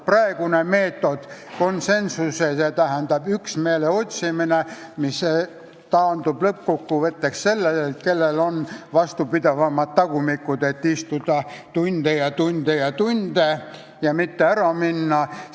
Praegune meetod, konsensuse, st üksmeele otsimine, taandub lõppkokkuvõttes sellele, et on oluline, kellel on vastupidavam tagumik, et istuda tunde ja tunde ja tunde ja mitte ära minna.